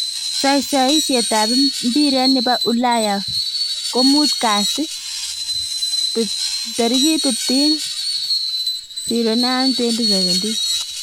Saisaisiet ab mpiret nebo Ulaya komutkasit 15.09.2017